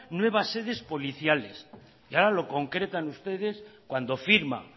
nuevas sedes policiales ahora lo concretan ustedes cuando firma